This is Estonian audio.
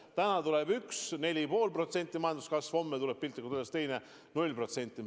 Täna tuleb 4,5% majanduskasvu, homme tuleb piltlikult öeldes 0%.